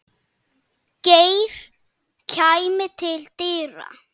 Geir kæmi til dyra.